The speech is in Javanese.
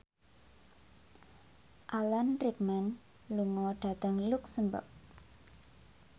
Alan Rickman lunga dhateng luxemburg